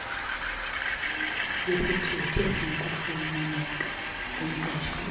lwesithuthi esinokufumaneka kumqeshwa